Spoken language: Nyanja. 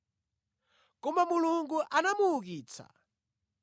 Koma Mulungu anamuukitsa,